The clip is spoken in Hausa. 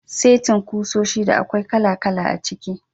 Setin kusoshi da akwai kala-kala a ciki.